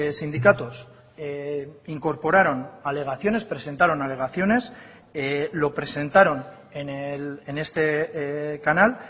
sindicatos incorporaron alegaciones presentaron alegaciones lo presentaron en este canal